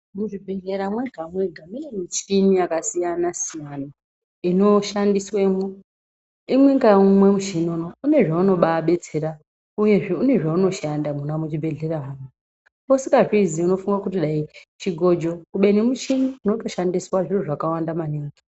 Muzvibhedhlera mega mega mune michini yakasiyana siyana inoshandiswamo imwe naumwe inenge ine zvaunobabetsera uye unenge une zvaunoshanda mona muzvibhedhlera muno usingazvuzuvi unoti dai chigojo kubeni michini inotoshandisa zviro zvakwanda.